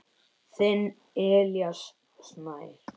Þinn Elías Snær.